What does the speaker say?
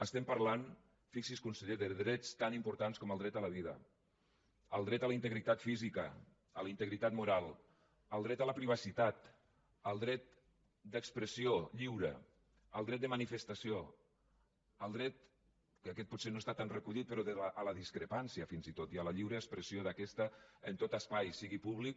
estem parlant fixi’s conseller de drets tan importants com el dret a la vida el dret a la integritat física a la integritat moral el dret a la privacitat el dret d’expressió lliure el dret de manifestació el dret que aquest potser no està tan recollit però a la discrepància fins i tot i a la lliure expressió d’aquesta en tot espai sigui públic